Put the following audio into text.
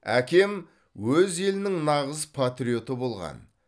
әкем өз елінің нағыз патриоты болған